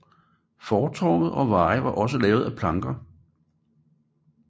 Fortove og veje var også lavet af planker